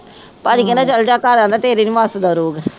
ਭਾਜੀ ਕਹਿੰਦਾ ਚਲੇ ਜਾ ਘਰ ਕਹਿੰਦਾ ਤੇਰੇ ਨੀ ਬਸ ਦਾ ਰੋਗ